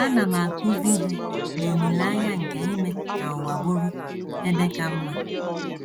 Ana m akụzi ihe n’olileanya nke ime ka ụwa bụrụ ebe ka mma. ”